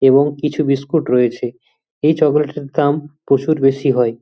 এবং কিছু বিস্কুট রয়েছে এই চকলেট এর দাম প্রচুর বেশি হয়।